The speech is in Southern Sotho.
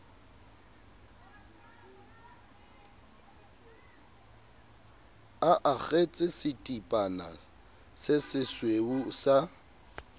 a akgetse setipana sesesweu sa